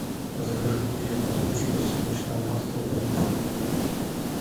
закажи две бутылки подсолнечного масла по литру